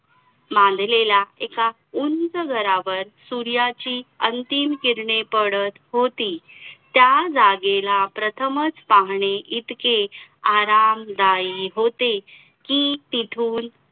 मांडलेल्या एका उंच घरावर सूर्याची अंतिम किरणे पडत होती त्या जागेला प्रथमच पाहणे इतके आरामदायी होते कि तिथून